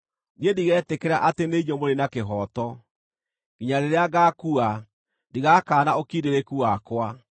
Niĩ ndigetĩkĩra atĩ nĩ inyuĩ mũrĩ na kĩhooto; nginya rĩrĩa ngaakua, ndigakaana ũkindĩrĩku wakwa.